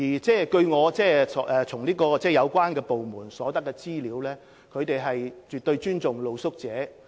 根據我從相關部門取得的資料，他們絕對尊重露宿者。